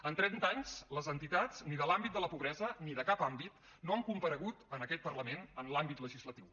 en trenta anys les entitats ni de l’àmbit de la pobresa ni de cap àmbit no han comparegut en aquest parlament en l’àmbit legislatiu